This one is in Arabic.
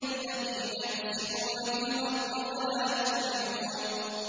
الَّذِينَ يُفْسِدُونَ فِي الْأَرْضِ وَلَا يُصْلِحُونَ